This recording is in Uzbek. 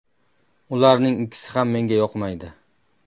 Ularning ikkisi ham menga yoqmaydi.